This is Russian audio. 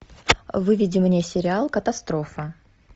выведи мне сериал катастрофа